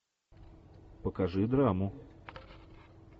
покажи драму